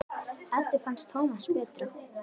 Eddu fannst Tómas betra.